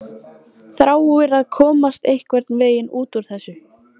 Þráir að komast einhvern veginn út úr þessu.